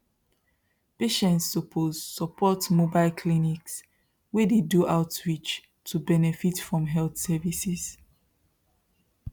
patients suppose support mobile clinics wey dey do outreach to benefit from health services